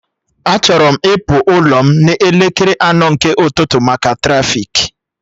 Achọrọ m ịpụ ụlọ m n'elekere anọ nke ụtụtụ maka trafiki